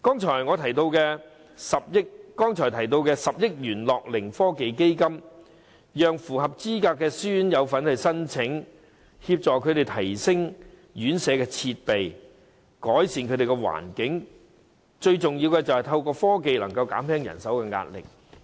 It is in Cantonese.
至於我剛才提到10億元的樂齡科技基金，當局應讓符合資格的私營院舍申請，協助院舍提升設備，改善環境，最重要的是透過科技減輕人手壓力。